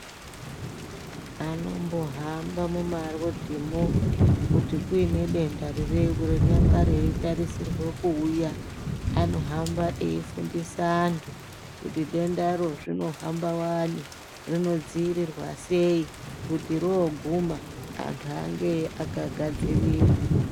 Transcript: Anombohamba mumarodhimwo kuti kuine denda ririyo rinonga reitarisirwa kuuya , anohamba eifundise antu kuti dendaro zvinohamba Wani , rinodziirirwa sei kuti roguma antu ange akagadzirira.